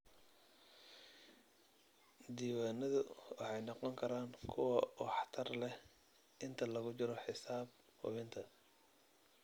Diiwaanadu waxay noqon karaan kuwo waxtar leh inta lagu jiro xisaab hubinta.